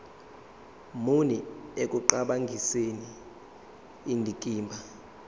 muni ekuqhakambiseni indikimba